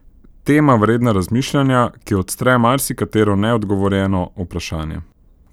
Tema vredna razmišljanja, ki odstre marsikatero neodgovorjeno vprašanje!